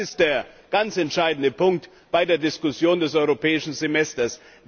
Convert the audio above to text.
Das ist der ganz entscheidende Punkt bei der Diskussion des Europäischen Semesters.